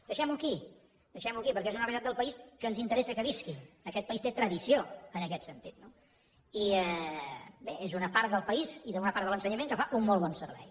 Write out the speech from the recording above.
deixem ho aquí deixem ho aquí perquè és una realitat del país que ens interessa que visqui aquest país té tradició en aquest sentit no i bé és una part del país i una part de l’ensenyament que fa un molt bon servei